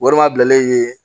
Warimabilen ye